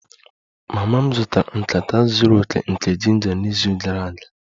Mama m zụtara nkata zuru oke nke ginger n'izu gara aga